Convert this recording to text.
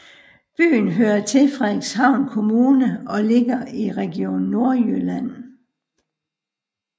Byen hører til Frederikshavn Kommune og ligger i Region Nordjylland